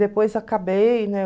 Depois acabei, né?